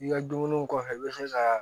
I ka dumuniw kɔfɛ i bɛ se ka